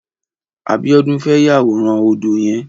Abiodun fè yàwóràn ódó yèn